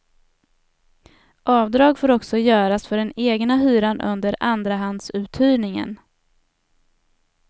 Avdrag får också göras för den egna hyran under andrahandsuthyrningen.